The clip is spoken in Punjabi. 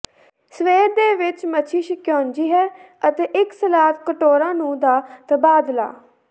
ਸਵੇਰ ਦੇ ਵਿੱਚ ਮੱਛੀ ਸਕਿਊਜ਼ੀ ਹੈ ਅਤੇ ਇੱਕ ਸਲਾਦ ਕਟੋਰਾ ਨੂੰ ਦਾ ਤਬਾਦਲਾ